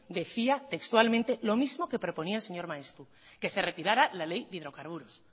decía textualmente lo mismo que proponía el señor maeztu que se retirara la ley de hidrocarburos